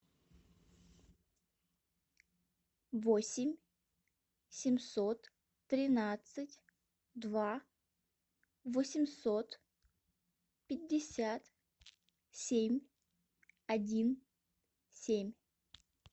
восемь семьсот тринадцать два восемьсот пятьдесят семь один семь